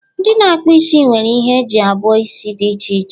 ndị na-akpụ isi nwere ihe eji abuo isi dị iche iche